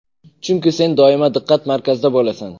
Chunki sen doim diqqat-markazda bo‘lasan.